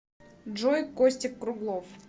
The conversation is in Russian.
джой костик круглов